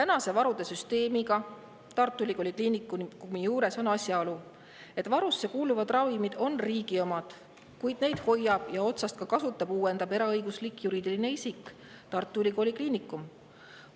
Kui varude süsteem on Tartu Ülikooli Kliinikumi juures, siis varusse kuuluvad ravimid on riigi omad, kuid neid hoiab, kasutab ja uuendab eraõiguslik juriidiline isik Tartu Ülikooli Kliinikum.